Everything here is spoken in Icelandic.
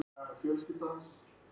Ert þú að fara eitthvað?